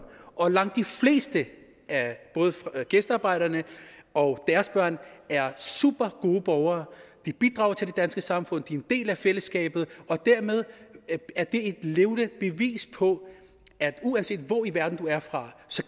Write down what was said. og langt de fleste af både gæstearbejderne og deres børn er supergode borgere de bidrager til det danske samfund de er en del af fællesskabet og dermed er det et levende bevis på at uanset hvor i verden du er fra